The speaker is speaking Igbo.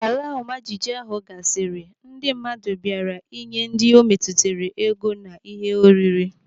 Ka ala ọma jijiji ahụ gasịrị, ndị mmadụ bịara ịnye ndị metụtara ego nakwa ihe oriri.